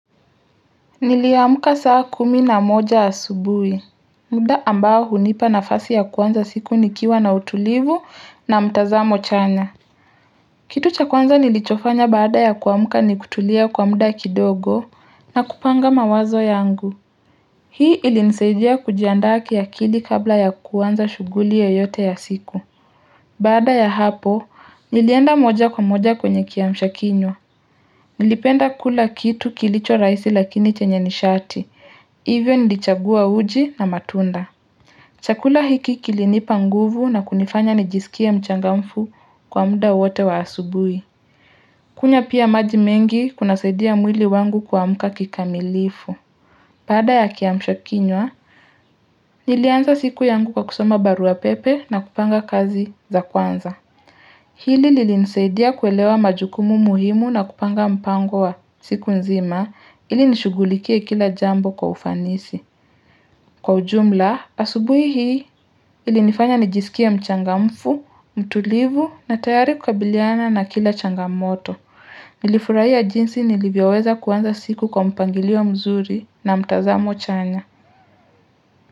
Niliamuka saa kumi na moja ya asubuhi mda ambao hunipa nafasi ya kuanza siku nikiwa na utulivu na mtazamo chanya Kitu cha kuanza nilichofanya baada ya kuamuka ni kutulia kwa mda kidogo na kupanga mawazo yangu Hii ilinisejia kujiandaki ya kili kabla ya kuanza shuguli yoyote ya siku Baada ya hapo nilienda moja kwa moja kwenye kiamsha kinywa Nilipenda kula kitu kilicho raisi lakini chenye nishati, hivyo nilichagua uji na matunda. Chakula hiki kilinipa nguvu na kunifanya nijisikia mchangamfu kwa muda wote wa asubui. Kunywa pia maji mengi kuna saidia mwili wangu kwamuka kikamilifu. Pada ya kiamsho kinywa, nilianza siku yangu kwa kusoma barua pepe na kupanga kazi za kwanza. Hili lili nisaidia kuelewa majukumu muhimu na kupanga mpango wa siku nzima ili nishugulikia kila jambo kwa ufanisi. Kwa ujumla, asubui hii ili nifanya nijisikia mchangamfu, mtulivu na tayari kukabiliana na kila changamoto. Nilifurai ya jinsi nilivyaweza kuanza siku kwa mpangili wa mzuri na mtazamo chanya.